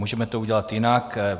Můžeme to udělat jinak.